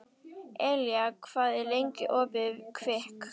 Elía, hvað er lengi opið í Kvikk?